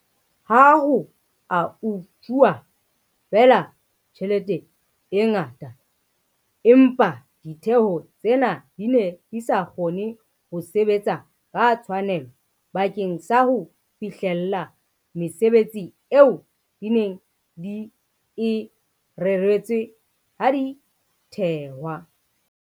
Ha ho a utsuwa feela tjhelete e ngata, empa ditheo tsena di ne di sa kgone ho sebetsa ka tshwanelo bakeng sa ho fihlella mesebetsi eo di neng di e reretswe ha di thehwa.